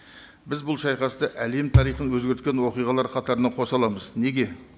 біз бұл шайқасты әлем тарихын өзгерткен оқиғалар қатарына қоса аламыз неге